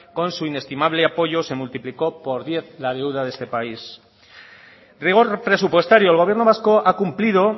con su inestimable apoyo se multiplicó por diez la deuda de este país rigor presupuestario el gobierno vasco ha cumplido